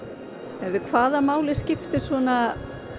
heyrðu hvaða máli skiptir svona